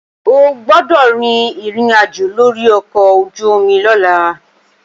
O gbọ́dọ̀ rin ìrìnàjò lórí ọkọ̀ ojú-omi lọ́la!